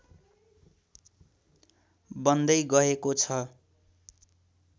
बन्दै गएको छ